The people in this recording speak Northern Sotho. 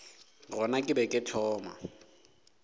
gona ke be ke thoma